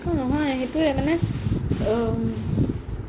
অ নহয় সেইটোয়ে মানে আ